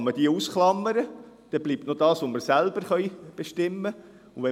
Man kann diese ausklammern, dann bleibt das, was wir selbst bestimmen können.